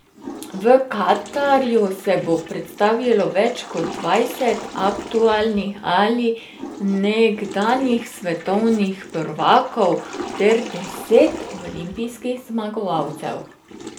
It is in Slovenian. V Katarju se bo predstavilo več kot dvajset aktualnih ali nekdanjih svetovnih prvakov ter deset olimpijskih zmagovalcev.